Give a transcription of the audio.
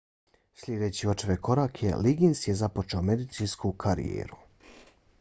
slijedeći očeve korake liggins je započeo medicinsku karijeru